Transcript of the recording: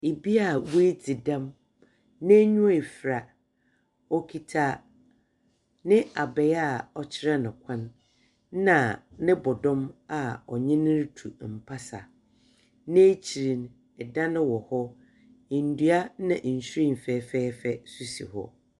Obi a woedzi dɛm, n’enyiwa efura. Okitsa n’abaa a ɔkyerɛ no kwan na no bɔdɔm a ɔnye no rutu mpasar. N’ekyir no, dan wɔ hɔ, ndua na nhyiren fɛfɛɛfɛ so si hɔ.